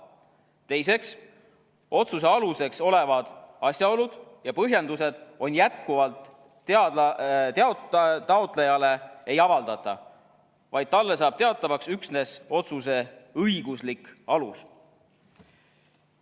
Teiseks, otsuse aluseks olevaid asjaolusid ja põhjendusi jätkuvalt taotlejale ei avaldata, vaid talle saab teatavaks üksnes otsuse õiguslik alus.